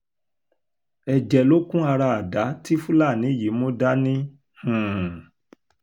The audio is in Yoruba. ẹ̀jẹ̀ ló kún ara àdá tí fúlàní yìí mú dání um